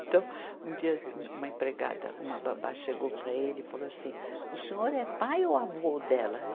Então, um dia um uma empregada, uma babá chegou para ele e falou assim, o senhor é pai ou avô dela?